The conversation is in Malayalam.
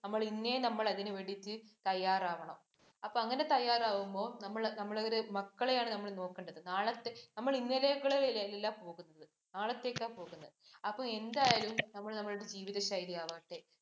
നമ്മൾ ഇന്നേ നമ്മളതിന് വേണ്ടിട്ട് തയ്യാറാവണം. അപ്പം അങ്ങനെ തയ്യാറുവുമ്പോൾ നമ്മൾ അവരെ മക്കളെയാണ് നമ്മൾ നോക്കേണ്ടത്. നാളത്തെ നമ്മൾ ഇന്നലെകളിൽ അല്ല പോവുന്നത് നാളത്തേക്കാ പോവുന്നത്. അപ്പോൾ എന്തായിരുന്നു നമ്മൾ നമ്മുടെ ജീവിത ശൈലി ആവാത്തെ?